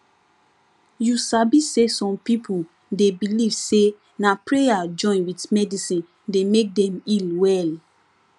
you sabi say some people dey believe say na prayer join with medicine dey make dem heal well